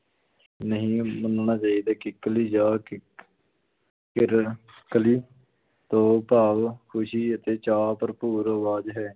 ਨਹੀਂ ਮੰਨਣਾ ਚਾਹੀਦਾ, ਕਿੱਕਲੀ ਜਾਂ ਕਿਕ~ ਕਿਰ ਕਲੀ ਤੋਂ ਭਾਵ ਖ਼ੁਸ਼ੀ ਅਤੇ ਚਾਅ ਭਰਪੂਰ ਅਵਾਜ਼ ਹੈ।